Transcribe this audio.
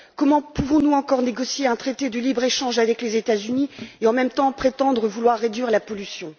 Comment pouvons nous encore négocier un traité de libre échange avec les États Unis et, en même temps, prétendre vouloir réduire la pollution?